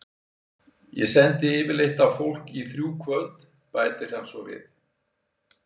Ég sendi yfirleitt á fólk í þrjú kvöld, bætir hann svo við.